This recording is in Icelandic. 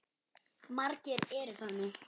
Margir eru það nú.